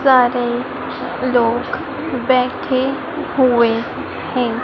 सारे लोग बैठे हुए हैं।